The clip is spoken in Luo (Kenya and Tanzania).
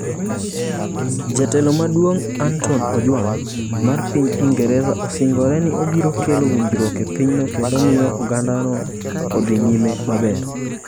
Jatelo maduong Anton Ojwang, mar piny Ingresa osingore ni obiro kelo winjruok e pinyno kendo miyo ogandano odhi nyime maber.